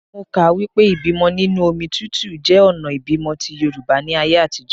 Mo kà á wípé ìbímọ nínú omi tútù jẹ́ ọ̀nà ìbímọ ti Yorùbá ní ayé àtijọ́.